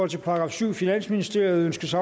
til § syvende finansministeriet ønskes